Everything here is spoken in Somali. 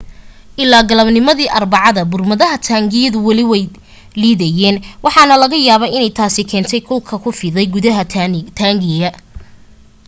ilaa galabnimadii arbacada burmadaha taangigu weli way liidayeen waxaana laga yaaba inay taas keentay kulka ku fiday gudaha taangiga